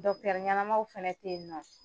ɲɛnamaw fana tɛ ye nin nɔ.